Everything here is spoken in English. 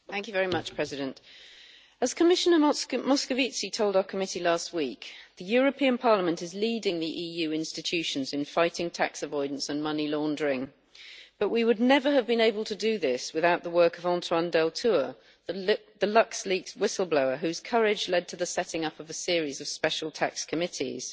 Mr President, as Commissioner Moscovici told our committee last week, the European Parliament is leading the EU institutions in fighting tax avoidance and money laundering, but we would never have been able to do this without the work of Antoine Deltour the LuxLeaks whistle blower whose courage led to the setting up of a series of special tax committees.